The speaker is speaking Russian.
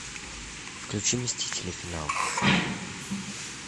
включи мстители финал